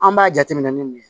An b'a jateminɛ ni mun ye